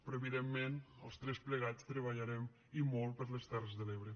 però evidentment els tres plegats treballarem i molt per les terres de l’ebre